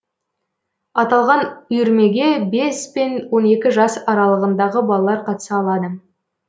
аталған үйірмеге бес пен он екі жас аралығындағы балалар қатыса алады